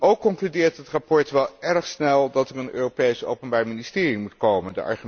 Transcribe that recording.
Ook concludeert het verslag wel erg snel dat er een Europees openbaar ministerie moet komen.